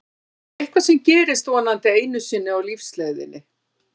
Það er eitthvað sem gerist vonandi einu sinni á lífsleiðinni.